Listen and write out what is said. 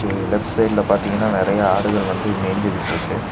இங்க லெஃப்ட் சைடுல பாத்தீங்கன்னா நெறைய ஆடுகள் வந்து மேஞ்சிக்கிட்ருக்கு.